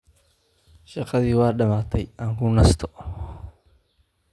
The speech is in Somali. Shaqadii waa dhammaatay, aan ku nasto